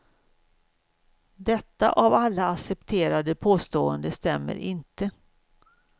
Detta av alla accepterade påstående stämmer inte.